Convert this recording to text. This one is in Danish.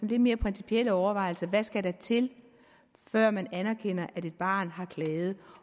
lidt mere principielle overvejelser der skal til før man anerkender at et barn har klaget